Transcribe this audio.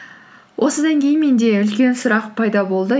осыдан кейін менде үлкен сұрақ пайда болды